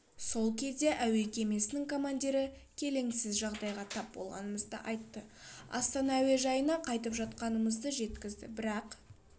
сол кезде әуе кемесінің командиры келеңсіз жағдайға тап болғанымызды айтты астана әуежайына қайтып жатқанымызды жеткізді бірақ